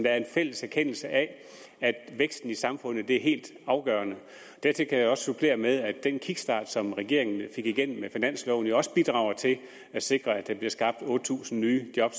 er en fælles erkendelse af at væksten i samfundet er helt afgørende dertil kan jeg også supplere med at den kickstart som regeringen fik igennem med finansloven jo også bidrager til at sikre at der bliver skabt otte tusind nye job